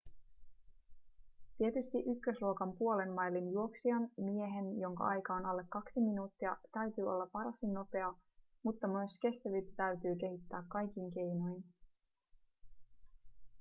tietysti ykkösluokan puolen mailin juoksijan miehen jonka aika on alle kaksi minuuttia täytyy olla varsin nopea mutta myös kestävyyttä täytyy kehittää kaikin keinoin